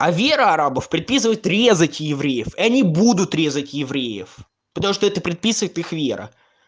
а вера арабов приписывает резать евреев и они будут резать евреев потому что это предписывает их вера